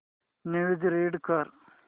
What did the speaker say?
news read कर